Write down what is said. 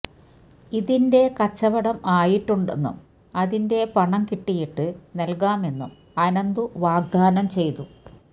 ഇതിന്റെ കച്ചവടം ആയിട്ടുണ്ടെന്നും അതിന്റെ പണം കിട്ടിയിട്ട് നൽകാമെന്നും അനന്തു വാഗ്ദാനം ചെയ്തു